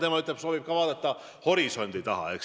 Tema ütleb, et soovib ka vaadata horisondi taha.